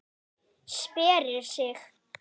Sperrir sig.